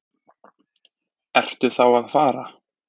Ertu þá að fara?